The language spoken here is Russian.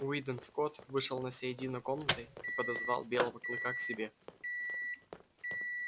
уидон скотт вышел на середину комнаты и подозвал белого клыка к себе